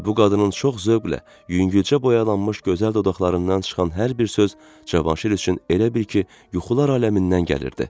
Və bu qadının çox zövqlə, yüngülcə boyalanmış gözəl dodaqlarından çıxan hər bir söz Cavanşir üçün elə bil ki, yuxular aləmindən gəlirdi.